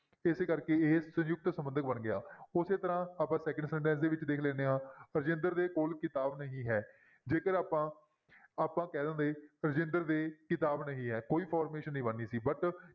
ਇਸ ਕਰਕੇ ਇਹ ਸੰਯੁਕਤ ਸੰਬੰਧਕ ਬਣ ਗਿਆ ਉਸੇ ਤਰ੍ਹਾਂ ਆਪਾਂ second sentence ਦੇ ਵਿੱਚ ਦੇਖ ਲੈਂਦੇ ਹਾਂ ਰਜਿੰਦਰ ਦੇ ਕੋਲ ਕਿਤਾਬ ਨਹੀਂ ਹੈ, ਜੇਕਰ ਆਪਾਂ ਆਪਾਂ ਕਹਿ ਦਿੰਦੇ ਰਜਿੰਦਰ ਦੇ ਕਿਤਾਬ ਨਹੀਂ ਹੈ ਕੋਈ formation ਨਹੀਂ ਬਣਨੀ ਸੀ but